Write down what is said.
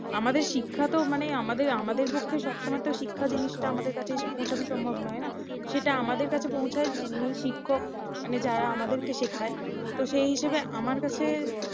আমাদের শিক্ষা তো মানে আমাদের ~ আমাদের পক্ষে সবসময় তো শিক্ষা জিনিসটা আমাদের কাছে এসে পৌঁছনো সম্ভব নয় তাই না সেটা আমাদের কাছে পৌছায় যিনি শিক্ষক মানে যারা আমাদেরকে শেখায় তো সেই হিসেবে আমার কাছে